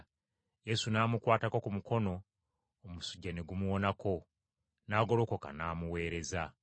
Yesu n’amukwata ku mukono omusujja ne gumuwonako, n’agolokoka n’amuweereza.